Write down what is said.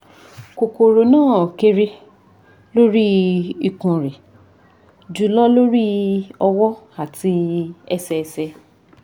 kokoro na kere lori ikun re julo lori owo ati ese ese